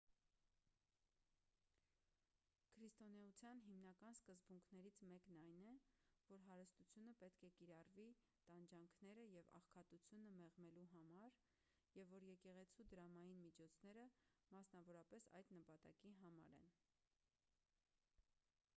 քրիստոնեության հիմնական սկզբունքներից մեկն այն է որ հարստությունը պետք է կիրառվի տանջանքները և աղքատությունը մեղմելու համար և որ եկեղեցու դրամային միջոցները մասնավորապես այդ նպատակի համար են